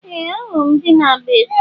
Ee! Ahụrụ m ndị na-agba egwu.